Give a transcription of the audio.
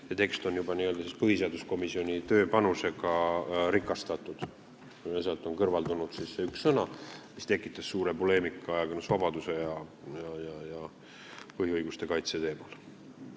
See tekst on siis n-ö põhiseaduskomisjoni tööpanusega rikastatud ja sealt on kõrvaldatud see üks sõna, mis tekitas suure poleemika ajakirjandusvabaduse ja põhiõiguste kaitse teemal.